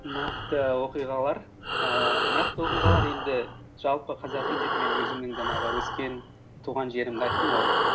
нақты оқиғалар ііі нақты оқиғалар енді жалпы қазақи деп мен өзімнің жаңағы өскен туған жерімді айттым ғой